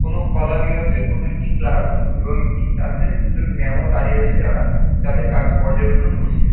কোনো কলা বিভাগকের কোনো একটি ক্লাস এবং একটি ক্লাস এ দুজন ম্যাম ও দাঁড়িয়ে রয়েছে যারা তাদের কাজ পর্যবেক্ষণ করছে।